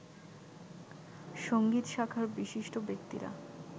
সংগীত শাখার বিশিষ্ট ব্যক্তিরা